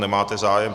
Nemáte zájem.